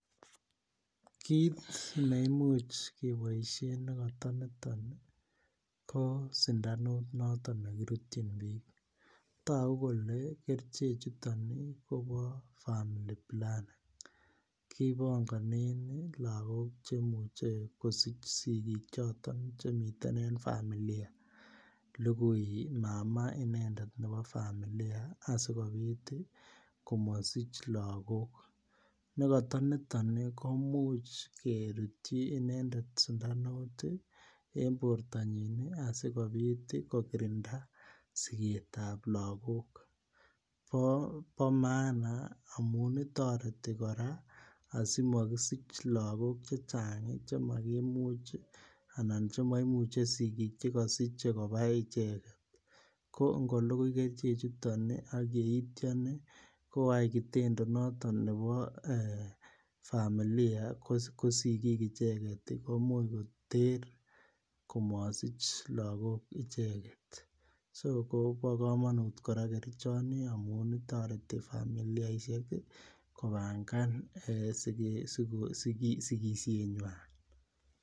Kit ne Imuch keboisien ne kata niton ko sindanuut noton ne kirutyin bik togu kole kerichek chuton kobo family planning kipongonen lagok Che muche kosich sigik choton Che miten en familia lugui mama inendet en familia asikobit komasich lagok nekata niton komuch kerutyi inendet sundanut en bortanyin asikobit kokirinda siget ab lagok bo maana amun toreti kora asi mo kisich lagok Che Chang Che makimuch anan Che maimuche sigik che Kasich kobai icheget ko ango lugui kerchechuto ak yeityo koyai kitendo noton nebo familia ko sigik icheget komuch koter komosich lagok icheget so kobo kamanut kora kerchoni amun toreti familiaisiek kobangan sigisienywa